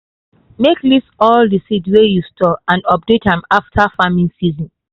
make list all the seed wey you store and update am after farming season.